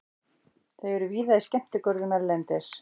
Þau eru víða í skemmtigörðum erlendis.